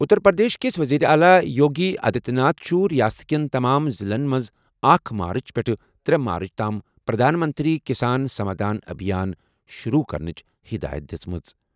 اتر پردیش کِس وزیر اعلیٰ یوگی آدتیہ ناتھ چھُ ریاست کٮ۪ن تمام ضِلعن منٛز اکھ مارچ پٮ۪ٹھ ترے مارٕچ تام 'پردھان منتری کسان سمادھان ابھیان' شروع کرنٕچ ہدایت دِژمٕژ۔